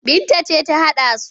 Binta ce ta haɗa su,